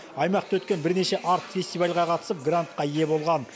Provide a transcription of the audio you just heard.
аймақта өткен бірнеше арт фестивальға қатысып грантқа ие болған